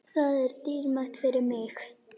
Það er dýrmætt fyrir mig.